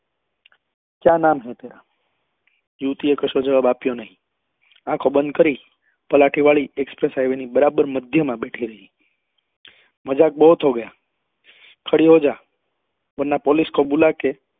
ક્યાં નામ હૈ તેરા? યુવતી એ કશો જવાબ આપ્યો આંખો બંદ કરી પલાઠી વાળી એક બરાબર મધ્ય માં બેઠેલી મજાક બોહોત હો ગયા ખડી હો જા વારના police કો બુલાકે